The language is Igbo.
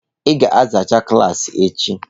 Ị ga-azachaa klaasị echi.